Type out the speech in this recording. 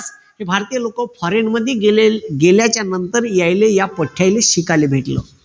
भारतीय लोक foreign मध्ये गेल्याच्या नंतर यानले या पट्ट्यायले शिकायला भेटलं.